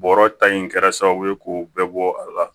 Bɔrɔ ta in kɛra sababu ye k'o bɛɛ bɔ a la